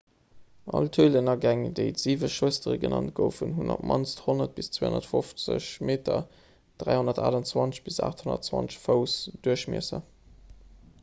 all d'hölenagäng déi d'siwe schwëstere genannt goufen hunn op d'mannst 100 bis 250 meter 328 bis 820 fouss duerchmiesser